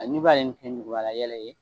Hali ni b'a kɛ ni nukubalayɛlɛ ye